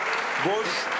Boş, 1.